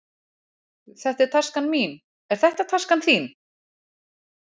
Þetta er taskan mín. Er þetta taskan þín?